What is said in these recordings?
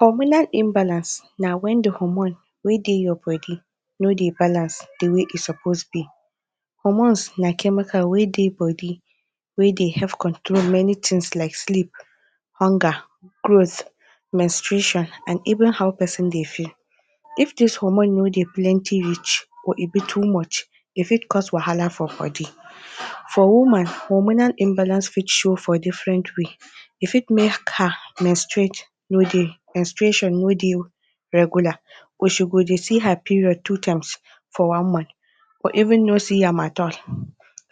Hormonal imbalance na wen the hormone wey dey your body no dey balance the way e suppose be. Hormones na chemical wey dey body wey dey help control many things like sleep, hunger, growth, mensturation and even how person dey feel. If dis hormone no dey plenty reach or e be too much, e fit cause wahala for body. For woman, hormonal imbalance fit show for different way. E fit make her mensturate no dey, mensturation no dey regular or she go dey see her period two times for one month or even no see am at all.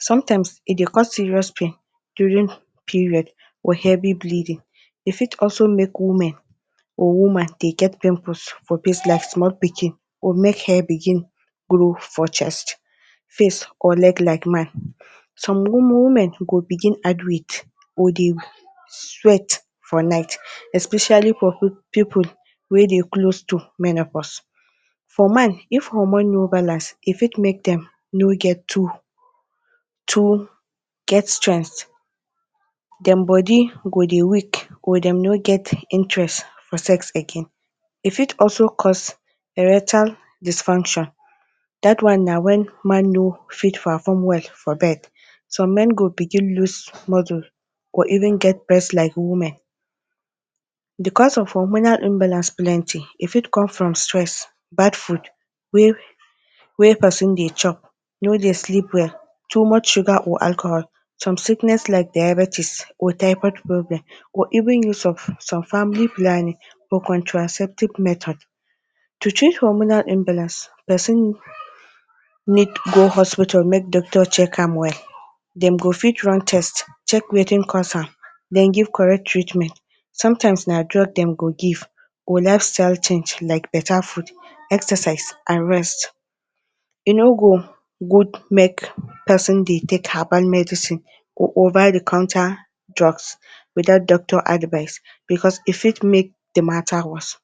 Sometimes, e dey cause serious pain during period or heavy bleeding. E fit also make women or woman dey get pimples for face like small pikin or make hair begin grow for chest, face or neck like man. Some women go begin add weight or dey sweat for night especially for people wey dey close to menopause. For man, if hormone no balance, e fit make dem no get too too get strength dem body go dey weak or dem no get interest for sex again. E fit also cause erectile dysfunction. Dat one na wen man no fit perform well for bed. Some men go begin lose muscle or even get breast like women. Because of hormonal imbalance plenty, e fit come from stress, bad food wey wey person dey chop no dey sleep well, too much sugar or alcohol some sickness like diabetes or typhoid problem, or even use of some family planning or contraceptive method. To treat hormonal imbalance, person need go hospital make doctor check am well, dem go fit run test, check wetin cause am then give correct treatment, sometimes na drug dem go give or lifestyle change like better food, exercise and rest. E no good make person dey take herbal medicine or over the counter drugs without doctor advice because e fit make the matter worse.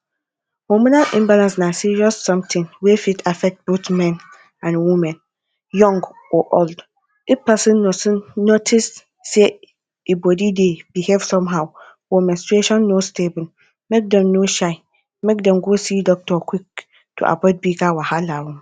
Hormonal imbalance na serious something wey fit affect both men and women, young or old. If person notice say e body dey behave somehow or menstruation no stable, make dem no shy, make dem go see doctor quick, to avoid bigger wahala oh!.